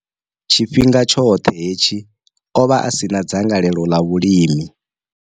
Tshifhinga tshoṱhe hetshi, o vha a si na dzangalelo ḽa vhulimi.